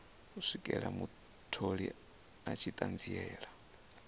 swikela mutholi a tshi ṱanziela